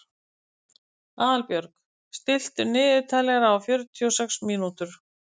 Aðalbjörg, stilltu niðurteljara á fjörutíu og sex mínútur.